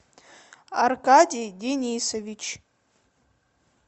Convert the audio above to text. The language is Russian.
аркадий денисович